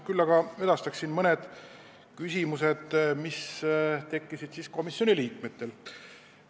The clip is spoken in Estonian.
Küll aga edastan mõned küsimused, mis tekkisid komisjoni liikmetel meie istungil.